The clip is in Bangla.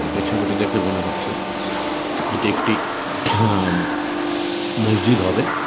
এ ছবিটি দেখে মনে হচ্ছে এটি একটি মসজিদ হবে ।